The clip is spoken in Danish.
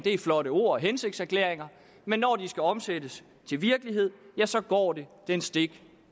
er flotte ord og hensigtserklæringer men når de skal omsættes til virkelighed ja så går det den stik